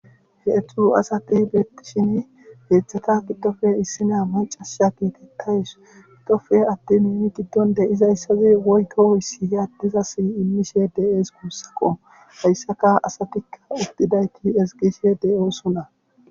Heedzdzu asati beettishini heedzdata giddofe issinniya maccashi geetetays gidoppe attoni giddon de7izayssi woykko issi addezassi immishe de7ees guusako hayssa asatikka uttidayti ezggishe de7oosona.